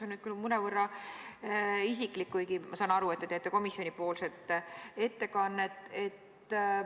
Minu küsimus on mõnevõrra isiklik, kuigi ma saan aru, et te teete komisjoni nimel ettekannet.